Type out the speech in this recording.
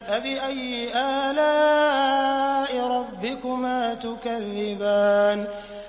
فَبِأَيِّ آلَاءِ رَبِّكُمَا تُكَذِّبَانِ